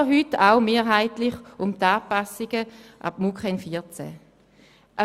Auch heute geht es mehrheitlich um die Anpassungen an die MuKEn 2014.